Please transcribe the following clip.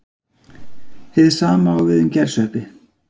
Hið sama á við um gersveppi.